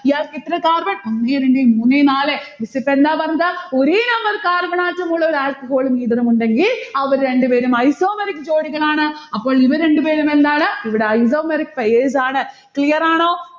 ഇയാൾക്ക് എത്ര carbon? ഒന്നേ രണ്ടേ മൂന്നേ നാലെ miss ഇപ്പൊ എന്താ പറഞ്ഞത്? ഒരേ number carbon atom ഉള്ള ഒരു alcohol ഉം ether ഉമുണ്ടെങ്കിൽ, അവർ രണ്ടുപേരും isomeric ജോഡികളാണ്. അപ്പോൾ ഇവർ രണ്ടുപേരും എന്താണ്? ഇവിടെ isomeric pairs ആണ്. clear ആണോ?